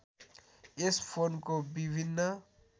यस फोनको विभिन्न